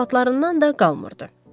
Zarafatlarından da qalmırdı.